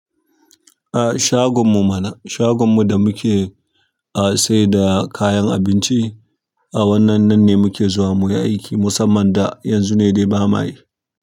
A shagon mu mana, shagon mu da muke a saida kayan abinci. A wannan nan ne muke zuwa muyi aiki musamman da yanzu ne dai bamayi.